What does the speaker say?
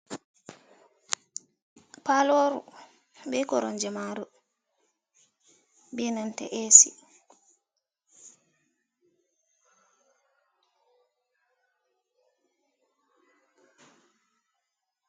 Paloru be koromje maru be nanta ac.